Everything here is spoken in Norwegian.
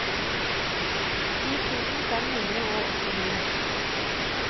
ti tusen fem hundre og åttini